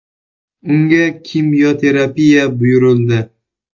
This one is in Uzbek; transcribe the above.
Unga kimyoterapiya buyurildi.